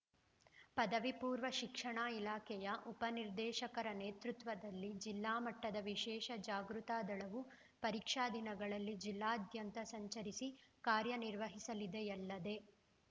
ಪದವಿಪೂರ್ವ ಶಿಕ್ಷಣ ಇಲಾಖೆಯ ಉಪ ನಿರ್ದೇಶಕರ ನೇತೃತ್ವದಲ್ಲಿ ಜಿಲ್ಲಾಮಟ್ಟದ ವಿಶೇಷ ಜಾಗೃತ ದಳವು ಪರೀಕ್ಷಾ ದಿನಗಳಲ್ಲಿ ಜಿಲ್ಲಾದ್ಯಂತ ಸಂಚರಿಸಿ ಕಾರ್ಯನಿರ್ವಹಿಸಲಿದೆಯಲ್ಲದೆ